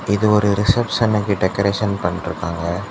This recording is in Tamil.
இது ஒரு ரிசப்ஷனுக்கு டெக்கரேசன் பண்ணிட்ருக்காங்க.